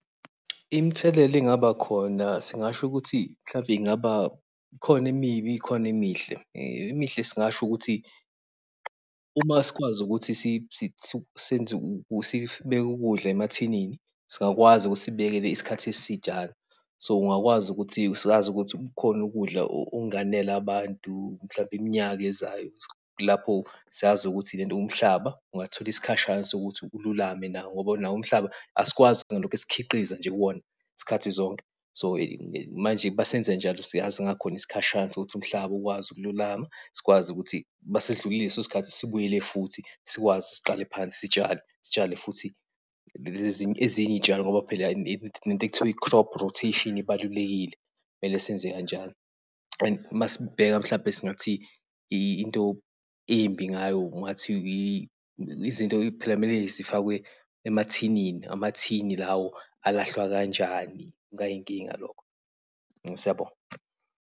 Imthelela engaba khona singasho ukuthi mhlampe ingaba, khona emibi, khona emihle. Emihle singasho ukuthi, uma sikwazi ukuthi sibeke ukudla emathinini, singakwazi ukuthi sikubekele isikhathi esijana. So ungakwazi ukuthi sazi ukuthi kukhona ukudla okunganela abantu, mhlampe iminyaka ezayo lapho siyazi ukuthi lento umhlaba ungathola isikhashana sokuthi ululame nawo ngoba nawo umhlaba asikwazi kuthi singalokhe sikhiqiza nje kuwona, izikhathi zonke. So, manje masenza njalo siyazi singakhona isikhashana sokuthi umhlaba ukwazi ukululama, sikwazi ukuthi mase sidlulile leso sikhathi sibuyele futhi, sikwazi siqale phansi sitshale, sitshale futhi ezinye iy'tshalo ngoba phela le nto ekuthiwa i-crop rotation ibalulekile, mele senze kanjalo. And masibheka mhlampe singathi, into embi ngayo ungathi izinto phela kumele zifakelwe emathinini, amathini lawo alahlwa kanjani. Kungayinkinga lokho. Siyabonga.